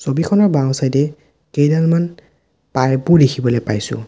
ছবিখনৰ বাওঁ ছাইদ এ কেইডালমান পাইপ ও দেখিবলে পাইছোঁ।